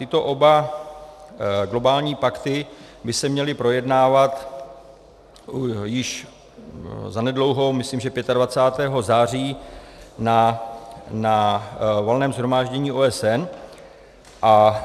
Tyto oba globální pakty by se měly projednávat již zanedlouho, myslím, že 25. září, na Valném shromáždění OSN a